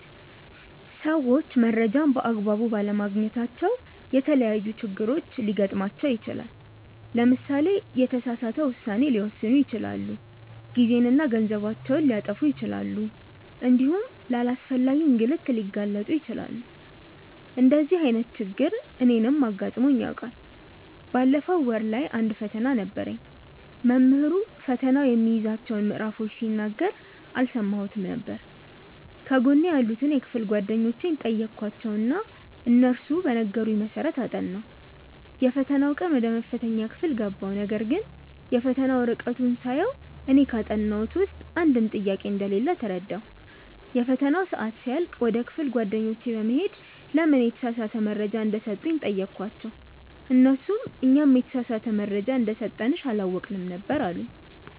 ሰዎች መረጃን በ አግባቡ ባለማግኘታቸው የተለያዪ ችግሮች ሊገጥማቸው ይችላል። ለምሳሌ የተሳሳተ ውሳኔ ሊወስኑ ይችላሉ፣ ጊዜና ገንዘባቸውን ሊያጠፉ ይችላሉ እንዲሁም ለአላስፈላጊ እንግልት ሊጋለጡ ይችላሉ። እንደዚህ አይነት ችግር እኔንም አጋጥሞኝ ያውቃል። ባለፈው ወር ላይ አንድ ፈተና ነበረኝ። መምህሩ ፈተናው የሚይዛቸውን ምዕራፎች ሲናገር አልሰማሁትም ነበር። ከጎኔ ያሉትን የክፍል ጓደኞቼን ጠየኳቸው እና እነሱ በነገሩኝ መሰረት አጠናሁ። የፈተናው ቀን ወደ መፈተኛ ክፍል ገባሁ ነገርግን የፈተና ወረቀቱን ሳየው እኔ ካጠናሁት ውስጥ አንድም ጥያቄ እንደሌለ ተረዳሁ። የፈተናው ሰአት ሲያልቅ ወደ ክፍል ጓደኞቼ በመሄድ ለምን የተሳሳተ መረጃ እንደሰጡኝ ጠየኳቸው እነርሱም "እኛም የተሳሳተ መረጃ እንደሰጠንሽ አላወቅንም ነበር አሉኝ"።